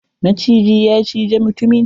Maciji ya cije mutumin.